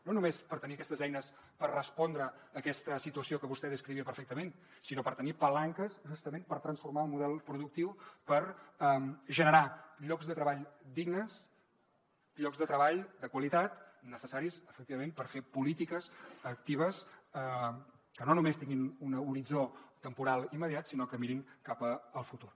no només per tenir aquestes eines per respondre a aquesta situació que vostè descrivia perfectament sinó per tenir palanques justament per transformar el model productiu per generar llocs de treball dignes llocs de treball de qualitat necessaris efectivament per fer polítiques actives que no només tinguin un horitzó temporal immediat sinó que mirin cap al futur